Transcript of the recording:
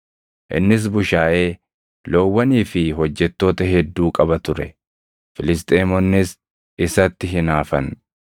Innis bushaayee, loowwanii fi hojjettoota hedduu qaba ture; Filisxeemonnis isatti hinaafan.